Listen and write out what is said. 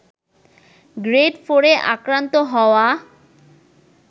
grade ফোরে আক্রান্ত হওয়া